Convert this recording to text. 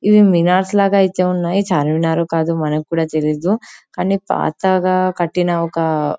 ఇది మీనన్ లాగా ఐతే ఉన్నాయి చార్మినారో కాదో మనకి కూడా తెలీదు కానీ పాతగా కట్టిన ఒక --